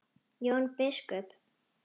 Jón biskup!